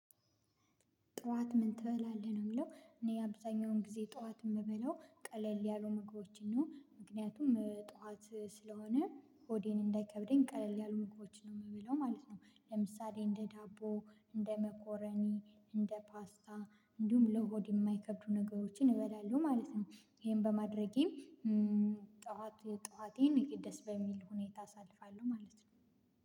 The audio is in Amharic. ጠዋት ምን ትበላለህ ነው? የሚለው እኔ ያብዛኛውን ጊዜ ጠዋት የምበለው ቀለል ያሉ ምግቦችን ነው ምክንያቱም ጠዋት ስለሆነ ሆዴን እንዳይከብደኝ ቀለል ያሉ ምግቦችን ነው የምብለው ማለት ነው። ለምሳሌ እንደ ዳቦ እንደ መኮረኒ እንደ ፓስታ እንዲሁም ለሆድ የማይከብዱ ነገሮችን እበላለሁ ማለት ነው። ይሄን በማድረጌ ጠዋት ጠዋቴን ደስ በሚል ሁኔታ አሳልፋለሁ ማለት ነው።